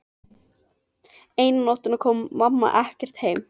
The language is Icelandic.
Eina nóttina kom mamma ekkert heim.